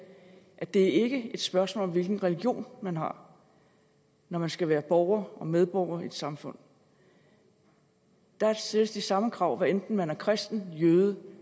at det ikke er et spørgsmål om hvilken religion man har når man skal være borger og medborger i et samfund der stilles de samme krav hvad enten man er kristen jøde